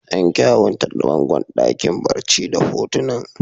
An kyawanta bangon dakin barci da hotunan.